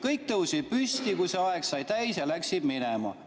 Kõik tõusid püsti, kui see aeg sai täis, ja läksid minema.